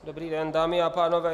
Dobrý den, dámy a pánové.